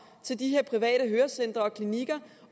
til de her private hørecentre og klinikker